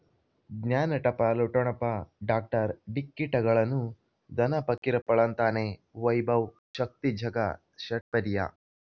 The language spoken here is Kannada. ಜ್ಞಾನ ಟಪಾಲು ಠೊಣಪ ಡಾಕ್ಟರ್ ಢಿಕ್ಕಿಟ ಗಳನು ಧನ ಫಕೀರಪ್ಪ ಳಂತಾನೆ ವೈಭವ್ ಶಕ್ತಿ ಝಗಾ ಷಟ್ಪದಿಯ